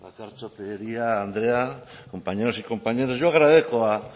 bakartxo tejeria andrea compañeros y compañeras yo agradezco al